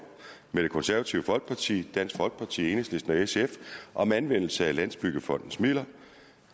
med det konservative folkeparti dansk folkeparti enhedslisten og sf om anvendelse af landsbyggefondens midler